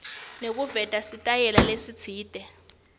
nekuveta sitayela lesitsite